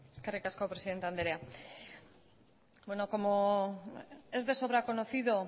eskerrik asko presidente andrea bueno como es de sobra conocido